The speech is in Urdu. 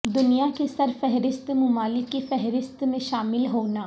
دنیا کے سر فہرست ممالک کی فہرست میں شامل ہونا